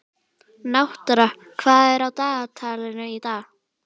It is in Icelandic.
Náttúra, hvað er á dagatalinu í dag?